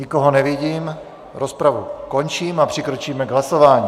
Nikoho nevidím, rozpravu končím a přikročíme k hlasování.